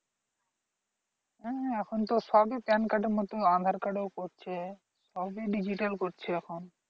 হম এখন তো সবই pan card এর মতো aadhar card এও করছে সবই digital করছে এখন